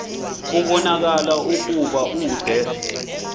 kubonakala ukuba ude